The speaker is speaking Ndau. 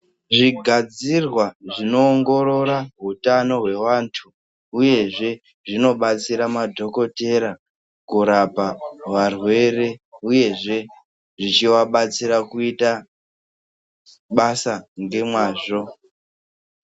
Zvigadzirwa zvinoongorora hutano hweantu uyezve zvinobatsire madhokodheya kurapa varwere uyezve zvichivabatsira kuita basa ngemwazvo.